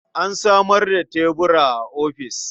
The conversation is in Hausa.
An samar da tebura a ofis.